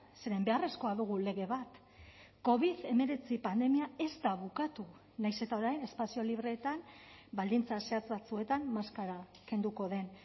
zeren beharrezkoa dugu lege bat covid hemeretzi pandemia ez da bukatu nahiz eta orain espazio libreetan baldintza zehatz batzuetan maskara kenduko den